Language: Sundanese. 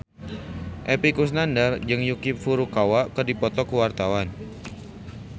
Epy Kusnandar jeung Yuki Furukawa keur dipoto ku wartawan